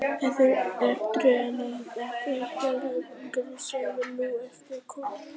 Þau eru sennilega jafnaldrar og komin úr gígaröð sem nú er undir jökli.